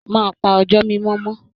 Máa pà ọjọ mimọ mọ.